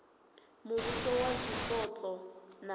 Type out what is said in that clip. muvhuso wa zwipotso na u